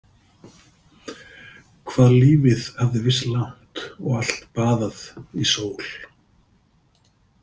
Hvað lífið hafði virst langt og allt baðað í sól.